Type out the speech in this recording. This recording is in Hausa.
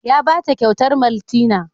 Ya ba ta kyautar maltina.